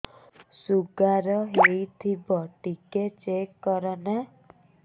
sugar ହେଇଥିବ ଟିକେ check କର ନା